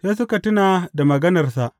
Sai suka tuna da maganarsa.